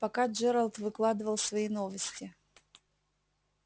пока джералд выкладывал свои новости